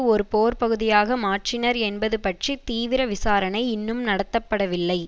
ஒரு போர் பகுதியாக மாற்றினர் என்பது பற்றி தீவிர விசாரணை இன்னும் நடத்தப்படவில்லை